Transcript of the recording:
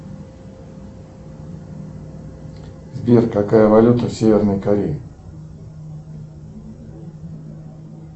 сбер какая валюта в северной корее